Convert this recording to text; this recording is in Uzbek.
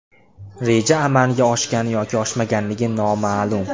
Reja amalga oshgan yoki oshmaganligi noma’lum.